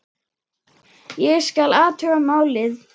Ég skal athuga málið